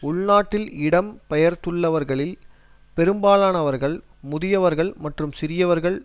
உள்நாட்டில் இடம்பெயர்ந்துள்ளவர்களில் பெரும்பாலானவர்கள் முதியவர்கள் மற்றும் சிறுவர்கள்